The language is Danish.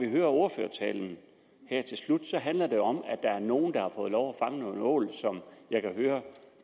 i ordførertalen handler det om at der er nogen der har fået lov at fange nogle ål som jeg kan høre